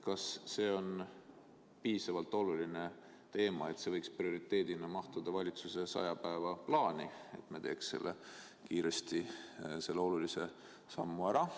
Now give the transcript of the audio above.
Kas see on piisavalt oluline teema, et see võiks prioriteedina mahtuda valitsuse 100 päeva plaani ja me teeks kiiresti selle sammu ära?